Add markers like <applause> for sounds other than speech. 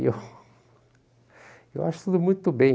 E eu <laughs> e eu acho tudo muito bem.